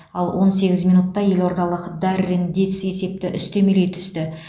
ал он сегіз минутта елордалық даррен диц есепті үстемелей түсті